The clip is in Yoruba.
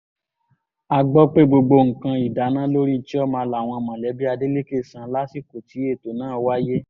a gbọ́ pé gbogbo nǹkan ìdáná lórí chioma làwọn mọ̀lẹ́bí adeleke san lásìkò tí ètò náà wáyé